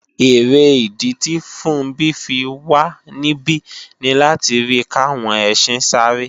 Èrè ìdí tì Funbí fi wà níbí ni láti rí kàwọn ẹsin sáré